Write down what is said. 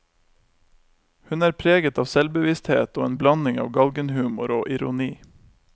Hun er preget av selvbevissthet og en blanding av galgenhumor og ironi.